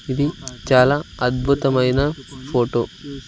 ఇది చాలా అద్భుతమైన ఫోటో.